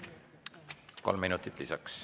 Kolm minutit lisaks.